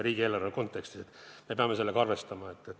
Riigieelarve kontekstis me peame sellega arvestama.